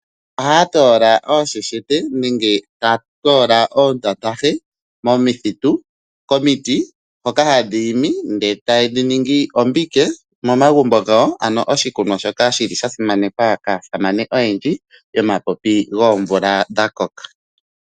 Ohaya toola oosheshete nenge ta toola oontantafi momithitu komiti dhoka hadhi imi ndele taye dhi ningi ombike momagumbo gawo, ano oshikunwa shoka shili sha simanekwa kaasamane oyendji yomapipi goomvula dha koka.